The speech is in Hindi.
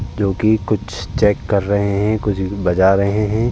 जोकि कुछ चेक कर रहे है कुछ बजा रहे हैं।